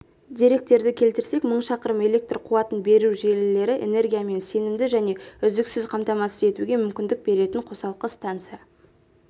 деректерді келтірсек мың шақырым электр қуатын беру желілері энергиямен сенімді және үздіксіз қамтамасыз етуге мүмкіндік беретін қосалқы станса